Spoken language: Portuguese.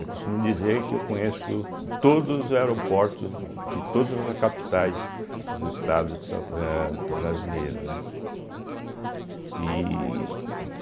Eu costumo dizer que eu conheço todos os aeroportos de todas as capitais dos estados de sa eh brasileiro né e.